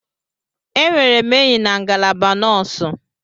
Enwere m enyi na ngalaba nọọsụ.